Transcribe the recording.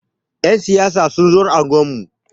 Ƴan siyasa sun zo unguwar mu.